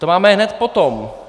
To máme hned potom.